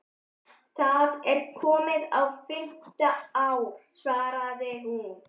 Það er komið á fimmta ár, svaraði hún.